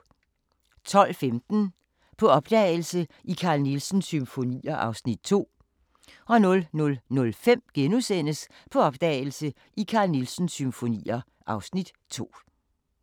12:15: På opdagelse i Carl Nielsens symfonier (Afs. 2) 00:05: På opdagelse i Carl Nielsens symfonier (Afs. 2)*